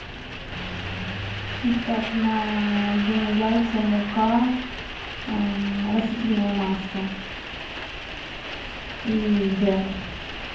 так на блины яйца мука растительное масло и джем